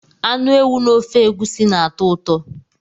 Anụ ewu na ofe egusi na-atọ ụtọ.